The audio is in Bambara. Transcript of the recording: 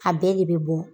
A bɛɛ de bɛ bɔ